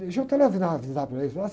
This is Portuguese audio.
Deixa eu telefonar, avisar para eles.